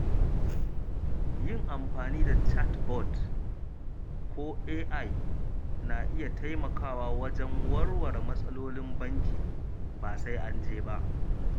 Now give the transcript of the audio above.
Yin amfani da chatbot ko AI na iya taimakawa wajen warware matsalolin banki, ba sai anje ba.